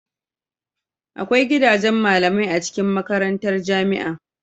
Agwai gidajen malamai a cikin makarantar jamia